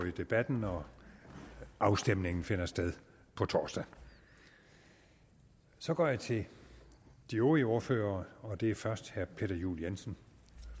i debatten og afstemningen finder sted på torsdag så går jeg til de øvrige ordførere og det er først herre peter juel jensen